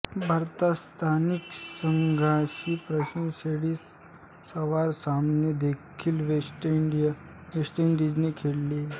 भारतात स्थानिक संघांशी प्रथमश्रेणी सराव सामने देखील वेस्ट इंडीजने खेळले